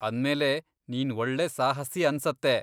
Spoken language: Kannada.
ಅಂದ್ಮೇಲೆ ನೀನ್ ಒಳ್ಳೆ ಸಾಹಸಿ ಅನ್ಸತ್ತೆ!